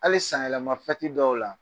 Hali sanyɛlɛma dɔw la